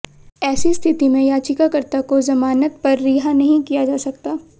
ऐसी स्थिति में याचिकाकर्ता को जमानत पर रिहा नहीं किया जा सकता